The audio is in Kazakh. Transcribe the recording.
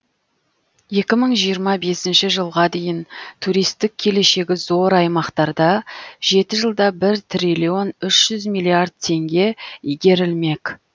екі мың жиырма бесінші жылға дейін туристік келешегі зор аймақтарда жеті жылда бір триллион үш жүз миллиард теңге игерілмек